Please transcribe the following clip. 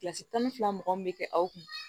Kilasi tan ni fila mɔgɔ min bɛ kɛ aw kun